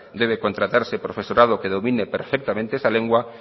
debe contratarse profesorado que domine perfectamente esa lengua